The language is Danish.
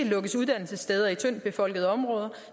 lukkes uddannelsessteder i tyndtbefolkede områder